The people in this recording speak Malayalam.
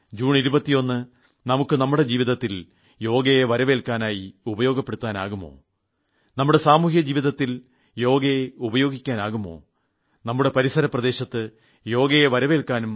ജൂൺ 21 നമുക്ക് നമുടെ ജീവിതത്തിൽ യോഗയെ വരവേൽക്കാനായി ഉപയോഗപ്പെടുത്താനാകുമോ നമുടെ സാമൂഹ്യ ജീവിതത്തിൽ യോഗയെ ഉപയോഗിക്കാനാകുമോ നമ്മുടെ പരിസര പ്രദേശത്ത് യോഗയെ വരവേൽക്കാനും ഉപയോഗിക്കാനുമാകുമോ